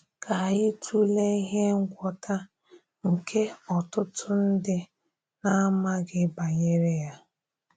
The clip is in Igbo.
Kà anyị tụlee íhè ngwọ́ta nke òtùtù ndị na-amàghị banyere ya.